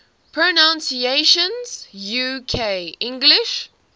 pronunciations uk english